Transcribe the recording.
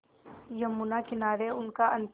यमुना किनारे उनका अंतिम